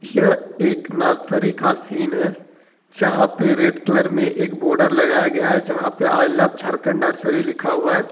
यह एक एक नर्सरी का सीन है जहां पे रेड कलर में एक बॉर्डर लगाया गया है जहां पर आई लव झारखंड नर्सरी लिखा हुआ है।